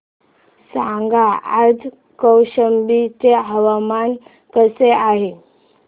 सांगा आज कौशंबी चे हवामान कसे आहे